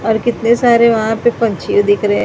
और कितने सारे वहां पे पंछी दिख रहे हैं।